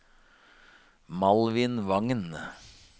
Malvin Wangen